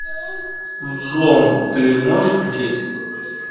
взлом ты можешь включить